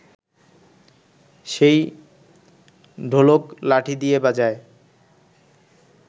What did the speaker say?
সেই ঢোলক লাঠি দিয়ে বাজায়